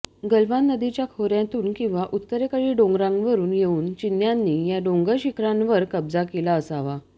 गलवान नदीच्या खोऱयांतून किंवा उत्तरेतील डोंगरांवरून येऊन चिन्यांनी या डोंगर शिखरांवर कब्जा केला असावा